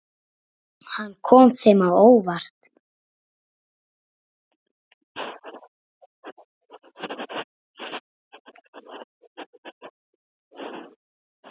Hann kom þeim á óvart.